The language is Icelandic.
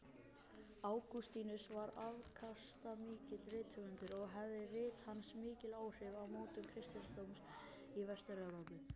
Ágústínus var afkastamikill rithöfundur og höfðu rit hans mikil áhrif á mótun kristindómsins í Vestur-Evrópu.